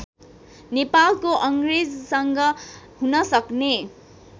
नेपालको अङ्ग्रेजसँग हुनसक्ने